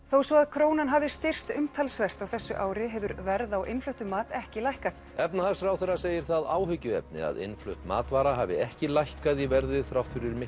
þó svo að krónan hafi styrkst umtalsvert á þessu ári hefur verð á innfluttum mat ekki lækkað efnahagsráðherra segir það áhyggjuefni að innflutt matvara hafi ekki lækkað í verði þrátt fyrir